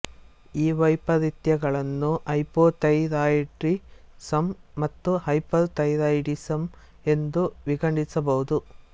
ಈ ವೈಪರಿತ್ಯಗಳನ್ನು ಹೈಪೋಥೈರಾಯಿಡಿಸಮ್ ಮತ್ತು ಹೈಪರ್ ಥೈರಾಯಿಡಿಸಮ್ ಎಂದು ವಿಂಗಡಿಸಬಹುದು